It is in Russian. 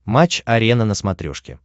матч арена на смотрешке